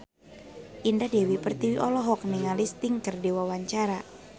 Indah Dewi Pertiwi olohok ningali Sting keur diwawancara